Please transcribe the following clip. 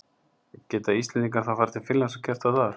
Geta Íslendingar þá farið til Finnlands og gert það þar?